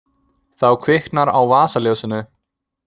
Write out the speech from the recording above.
Þá kviknar á vasaljósinu.